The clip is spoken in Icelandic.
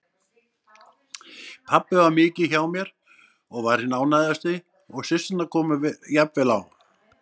Pabbi var mikið hjá mér og var hinn ánægðasti og systurnar komu jafnvel á